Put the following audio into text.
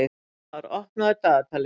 Fróðmar, opnaðu dagatalið mitt.